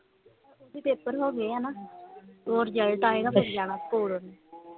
ਨਹੀਂ ਪੇਪਰ ਹੋਗੇ ਆ ਨਾ ਉਹ result ਆਏ ਨਾ ਫੇਰ ਜਾਣਾ ਸਕੂਲ